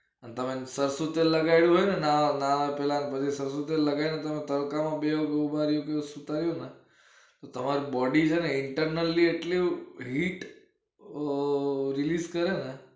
અને તમે સરસુ તેલ લગાવ્યું હોય અને નાવા પેલા તડકામાં બે ઉભા રો ને સુતા રયો ને તમાર body છે ને internal એ જેટલી hit ઓં release કરે ને